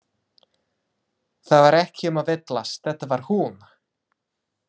Það var ekki um að villast, þetta var hún!